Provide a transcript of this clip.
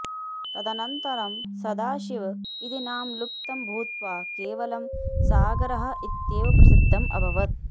तदनन्तरं सदाशिव इति नाम लुप्तं भूत्वा केवलं सागरः इत्येव प्रसिद्धम् अभवत्